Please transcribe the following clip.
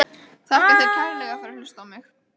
Þakka þér kærlega fyrir að hlusta á mig!